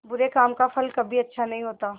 बुरे काम का फल कभी अच्छा नहीं होता